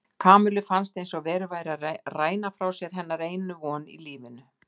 Kamillu fannst eins og verið væri að ræna frá sér hennar einu von í lífinu.